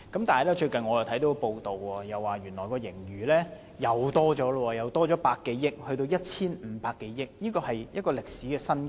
但是，我最近看到一則報道，發現原來盈餘進一步增加百多億元，現為 1,500 多億元，是歷史新高。